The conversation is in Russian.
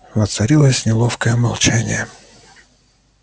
воцарилось неловкое молчание